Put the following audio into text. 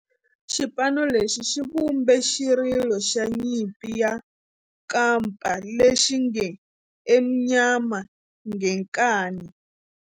Xipano lexi xi vumbe xirilo xa nyimpi xa kampa lexi nge 'Ezimnyama Ngenkani'.